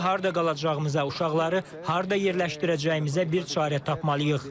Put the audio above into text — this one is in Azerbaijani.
İndi harda qalacağımıza, uşaqları harda yerləşdirəcəyimizə bir çarə tapmalıyıq.